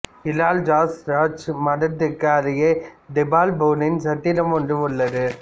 இலால் ஜாஸ் ராஜ் மடத்திற்கு அருகில் தீபல்பூரின் சத்திரம் ஒன்று உள்ளது